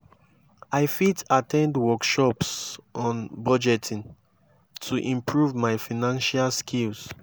i fit at ten d workshops on budgeting to improve my financial skills.